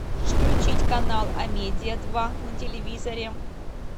включить канал амедиа два на телевизоре